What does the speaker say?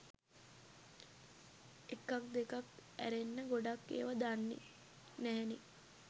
එකක් දෙකක් ඈරෙන්න ගොඩක් ඒව දන්නේ නැහැනේ